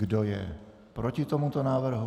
Kdo je proti tomuto návrhu?